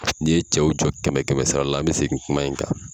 N'i ye cɛw jɔ kɛmɛ kɛmɛ sara la n bɛ segin kuma in kan.